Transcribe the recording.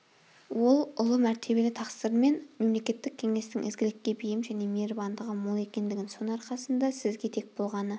ол ұлы мәртебелі тақсыр мен мемлекеттік кеңестің ізгілікке бейім және мейірбандығы мол екендігін соның арқасында сізге тек болғаны